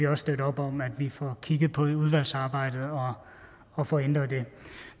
også støtte op om at vi får kigget på det i udvalgsarbejdet og får ændret det